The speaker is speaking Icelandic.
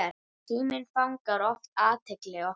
Síminn fangar oft athygli okkar.